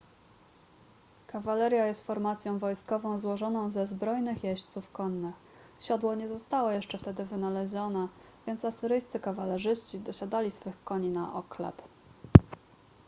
kawaleria jest formacją wojskową złożoną ze zbrojnych jeźdźców konnych siodło nie zostało jeszcze wtedy wynalezione więc asyryjscy kawalerzyści dosiadali swych koni na oklep